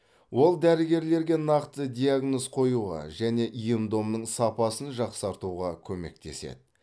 ол дәрігерлерге нақты диагноз қоюға және ем домның сапасын жақсартуға көмектеседі